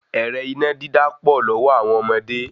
Ẹ̀rẹ́ iná dídá pọ̀ lọ́wọ́ àwọn ọmọdé